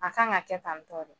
A kan ka kɛ tan tɔ de